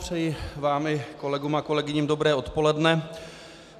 Přeji vám i kolegům a kolegyním dobré odpoledne.